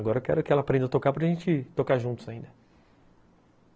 Agora eu quero que ela aprenda a tocar para gente tocar juntos ainda.